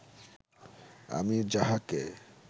আমি যাহাকে